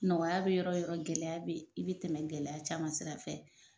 Nɔgɔya bɛ yɔrɔ yɔrɔ gɛlɛya beyi i bɛ tɛmɛ gɛlɛya caman sira fɛ.